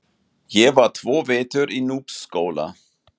Ég var tvo vetur í Núpsskóla.